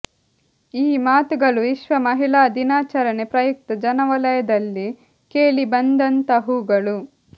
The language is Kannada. ಈ ಮಾತುಗಳು ವಿಶ್ವ ಮಹಿಳಾ ದಿನಾಚರಣೆ ಪ್ರಯುಕ್ತ ಜನ ವಲಯದಲ್ಲಿ ಕೇಳಿ ಬಂದಂತಹವುಗಳು